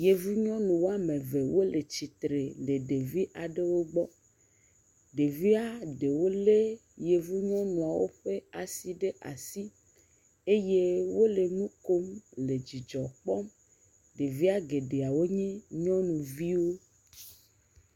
Yevu nyɔnu woame ve wole tsitre le ɖevi aɖewo gbɔ. Ɖevia ɖewo lé Yevu nyɔnuwo ƒe asi ɖe asi eye wole nu kom, le dzidzɔ kpɔm. Ɖevia geɖea wonye nyɔnuviwo.